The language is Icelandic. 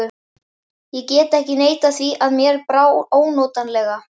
Ég get ekki neitað því að mér brá ónotalega.